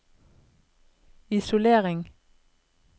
isolering